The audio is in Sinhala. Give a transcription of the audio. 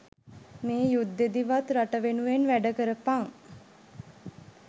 මේ යුද්දෙදිවත් රට වෙනුවෙන් වැඩ කරපන්